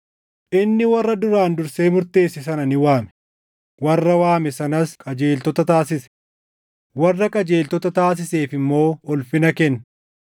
Inni warra duraan dursee murteesse sana ni waame; warra waame sanas qajeeltota taasise; warra qajeeltota taasiseef immoo ulfina kenne.